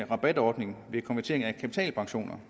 rabatordningen ved konvertering af kapitalpensioner